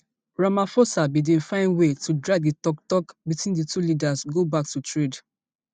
ramaphosa bin find way to drag di toktok between di two leaders go back to trade